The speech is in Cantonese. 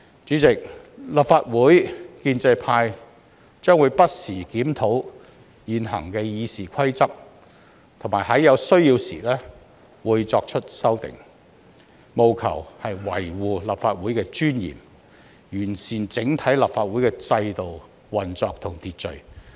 主席，立法會建制派將會不時檢討現行《議事規則》，並會在有需要時作出修訂，務求維護立法會的尊嚴，完善整體立法會的制度、運作和秩序。